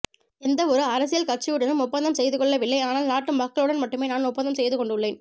எந்தவொரு அரசியல் கட்சியுடனும் ஒப்பந்தம் செய்து கொள்ளவில்லை ஆனால் நாட்டு மக்களுடன் மட்டுமே நான் ஒப்பந்தம் செய்து கொண்டுள்ளேன்